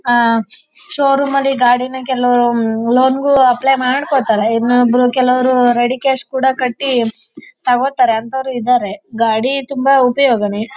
showroom ಅಲ್ಲಿ ಗಾಡಿನ ಕೆಲವರು ಲೋನ್ ಗು ಅಪ್ಲೈ ಮಾಡ್ಕೋತಾರೆ ಇನ್ನೊಬರು ಕೆಲವರು ರೆಡಿ ಕ್ಯಾಶ್ ಕೂಡ ಕಟ್ಟಿ ತಗೋತಾರೆ ಅಂತವರು ಇದಾರೆ ಗಾಡಿ ತುಂಬಾ ಉಪಯೋಗನೇ--